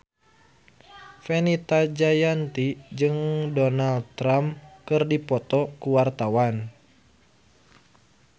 Fenita Jayanti jeung Donald Trump keur dipoto ku wartawan